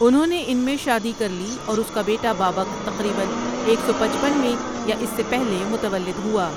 انہوں نے ان میں شادی کرلی اوراس کا بیٹا بابک تقریبًا ایک سو پچپن میں یا اس سے پہلے متولد ہوا ۔